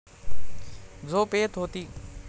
झोप येत होती.